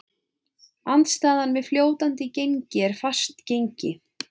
Andstaðan við fljótandi gengi er fast gengi.